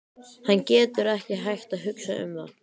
Hann getur ekki hætt að hugsa um það.